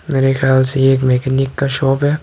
मेरे ख्याल से ये एक मैकेनिक का शॉप है।